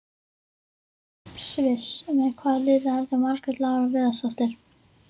Sviss Með hvaða liði leikur Margrét Lára Viðarsdóttir?